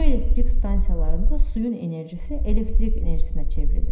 Su elektrik stansiyalarında suyun enerjisi elektrik enerjisinə çevrilir.